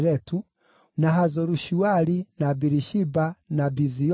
na Hazoru-Shuali, na Birishiba, na Biziothia,